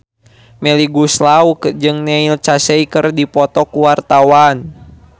Melly Goeslaw jeung Neil Casey keur dipoto ku wartawan